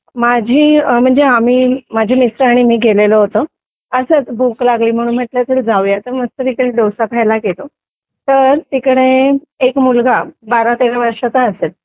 माझी म्हणजे आम्ही माझे मिस्टर आणि मी गेलेलो होतो असंच भूक लागली म्हणून म्हटलं चल जाऊया तर तिथे डोसा खायला गेलो तर तिकडे एक मुलगा बारा-तेरा वर्षाचा असेल